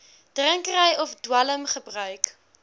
drinkery of dwelmgebruik